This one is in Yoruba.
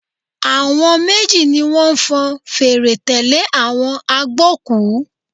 Àwọn méjì ni wọ́n fọn fèrè tẹ̀lé àwọn agbókùú.